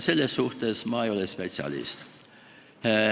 Selles asjas ei ole ma spetsialist.